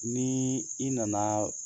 Ni i nana